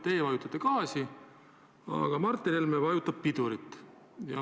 Teie vajutate gaasi, aga Martin Helme vajutab pidurit.